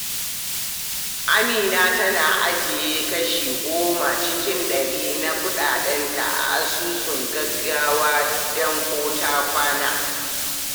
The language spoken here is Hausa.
Amina tana ajiye kashi goma cikin dari na kudinta a asusun gaggawa don ko-ta-kwana.